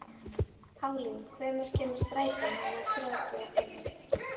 Pálín, hvenær kemur strætó númer þrjátíu og fimm?